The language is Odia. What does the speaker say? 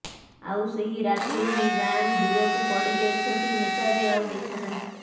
ଆଉ ସେହି ରାତିରୁ ହିଁ ଗାଁରୁ ଦୂରକୁ ଗଡ଼ିଯାଇଛନ୍ତି ନେତା ଯେ ଆଉ ଦେଖା ନାହିଁ